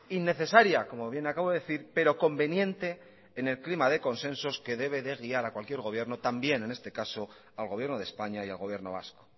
innecesaria como bien acabo de decir pero conveniente en el clima de consensos que debe de guiar a cualquier gobierno también en este caso al gobierno de españa y al gobierno vasco